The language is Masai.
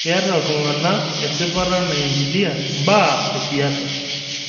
Keeta ltung'ana esipata naingilia mbaa esiasa